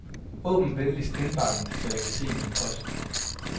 Åbn venligst indbakken så jeg kan se min post.